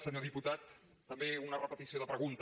senyor diputat també una repetició de pregunta